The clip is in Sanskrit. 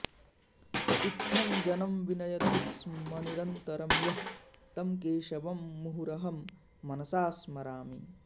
इत्थं जनं विनयतिस्मनिरन्तरं यः तं केशवं मुहुरहं मनसास्मरामि